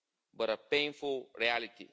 but a painful reality.